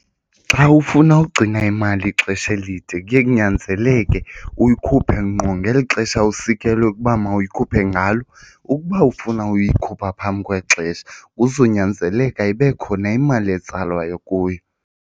Xa ufuna ugcina imali ixesha elide kuye kunyanzeleke uyikhuphe ngqo ngeli xesha usikelwe ukuba mawuyikhuphe ngalo. Ukuba ufuna uyikhupha phambi kwexesha kuzonyanzeleka ibe khona imali etsalwayo kuyo.